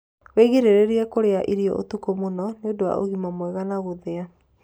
wĩgirĩrĩrie kurĩa irio utuku mũno nĩũndũ wa ũgima mwega na guthia